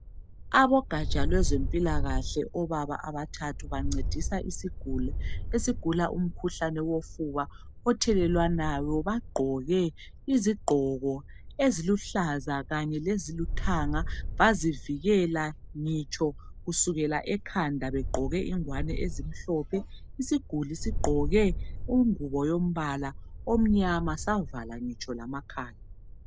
Abogaja lwezempilakahle obaba abathathu bancedisa isiguli esigula umkhuhlane wofuba othelelwanayo bagqoke izigqoko eziluhlaza kanye lezilithanga bazivikela ngitsho kusukela ekhanda begqoke ingwane ezimhlophe isiguli sigqoke ingubo yombala omnyama savala ngitsho lamakhala.